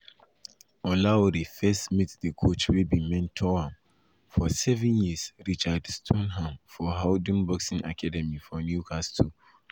olaore first meet di coach wey bin mentor am for seven years richard stoneham for howdon boxing academy for newcastle.